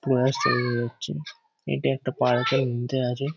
প্রয়াস চালু রাখছে। এটা একটা পার্ক -এর মধ্যে আছে।